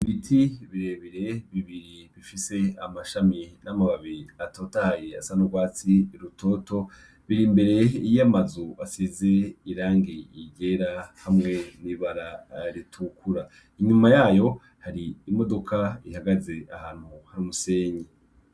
Ibiti birebere bibiri bifise amashami n'amababiri atotayi asanaurwatsi rutoto biri imbere iyo amazu asize irange yigera hamwe ni bararitukura inyuma yayo hari imodoka ihagaze ahantu hamusenyi.